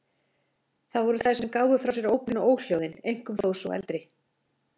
Það voru þær sem gáfu frá sér ópin og óhljóðin, einkum þó sú eldri.